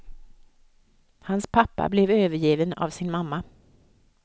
Hans pappa blev övergiven av sin mamma.